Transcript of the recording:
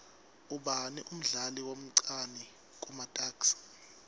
ubani umdlali omcani kumatuks